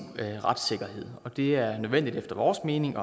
retssikkerhed det er nødvendigt efter vores mening